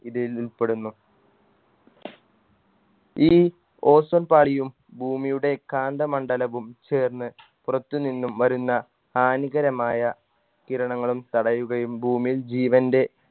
ഇതിൽ ഉൾപ്പെടുന്നു ഈ ozone പാളിയും ഭൂമിയുടെ കാന്ത മണ്ഡലവും ചേർന്ന് പുറത്തു നിന്നും വരുന്ന ഹാനികരമായ കിരണങ്ങളും തടയുകയും ഭൂമിയിൽ ജീവൻറെ